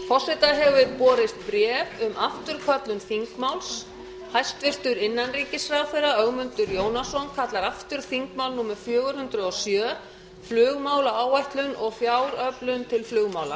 forseta hefur borist bréf um afturköllun þingmáls hæstvirtur innanríkisráðherra ögmundur jónasson kallar aftur þingmál númer fjögur hundruð og sjö flugmálaáætlun og fjáröflun til flugmála